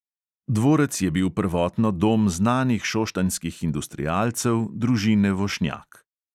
Dvorec je bil prvotno dom znanih šoštanjskih industrialcev, družine vošnjak.